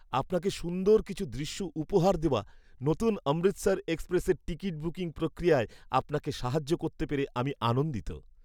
আপনাকে সুন্দর কিছু দৃশ্য উপহার দেওয়া নতুন অমৃতসর এক্সপ্রেসের টিকিট বুকিং প্রক্রিয়ায় আপনাকে সাহায্য করতে পেরে আমি আনন্দিত।